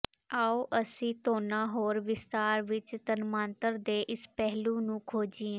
ਆਉ ਅਸੀਂ ਥੋਨਾ ਹੋਰ ਵਿਸਥਾਰ ਵਿੱਚ ਤੰਮਾਂਤਰ ਦੇ ਇਸ ਪਹਿਲੂ ਨੂੰ ਖੋਜੀਏ